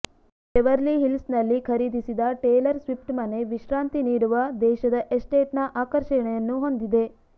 Beverly ಹಿಲ್ಸ್ನಲ್ಲಿ ಖರೀದಿಸಿದ Taylor Swift ಮನೆ ವಿಶ್ರಾಂತಿ ನೀಡುವ ದೇಶದ ಎಸ್ಟೇಟ್ನ ಆಕರ್ಷಣೆಯನ್ನು ಹೊಂದಿದೆ